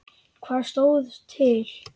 Hvað stóð til?